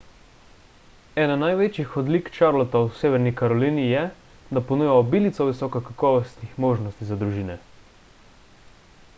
ena največjih odlik charlotta v severni karolini je da ponuja obilico visoko kakovostnih možnosti za družine